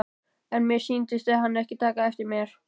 En mér sýndist hann ekki taka eftir mér.